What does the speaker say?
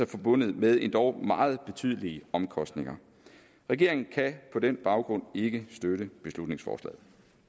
forbundet med endog meget betydelige omkostninger regeringen kan på den baggrund ikke støtte beslutningsforslaget